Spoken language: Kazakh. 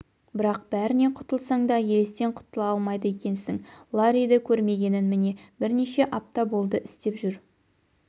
бірақ бәрінен құтылсаң да елестен құтыла алмайды екенсің ларриді көрмегенін міне бірнеше апта болды істеп жүр